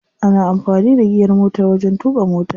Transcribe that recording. Ana amfani da giyar motar wajen tuƙa mota.